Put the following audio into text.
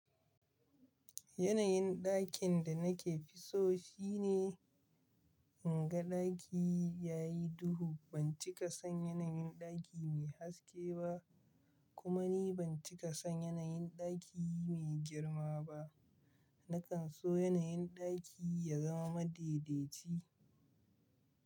Yanayin ɗakin da nake so shine, in ga ɗaki ya yi duhu. Ban cika son yanayin ɗaki mai haske ba, kuma ni ban cika son yanayin ɗaki mai girma ba. Nakan so yanayin ɗaki ya zama madaidaici.